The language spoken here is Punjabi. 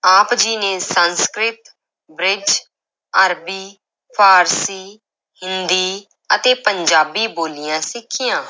ਆਪ ਜੀ ਨੇ ਸੰਸਕ੍ਰਿਤ, ਬ੍ਰਿਜ, ਅਰਬੀ, ਫਾਰਸੀ, ਹਿੰਦੀ ਅਤੇ ਪੰਜਾਬੀ ਬੋਲੀਆਂ ਸਿੱਖੀਆਂ।